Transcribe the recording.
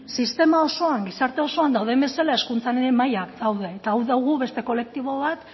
ez sistema osoan gizarte osoan dauden bezala hezkuntzan ere mailan daude eta hau dugu beste kolektibo bat